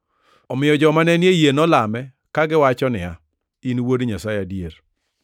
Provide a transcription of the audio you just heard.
Omiyo joma ne ni ei yie nolame, kagiwacho niya, “In Wuod Nyasaye adier.”